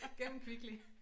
Gennem Kvickly